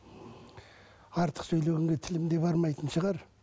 артық сөйлегенге тілім де бармайтын шығар